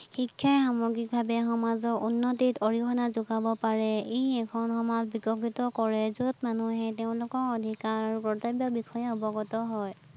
শিক্ষাই সামগ্ৰিক ভাৱে সমাজৰ উন্নতিত অৰিহনা যোগাব পাৰে, ই এখন সমাজ বিকশিত কৰে যত মানুহে তেওঁলোকৰ অধিকাৰ আৰু কৰ্তব্য বিষয়ে অৱগত হয়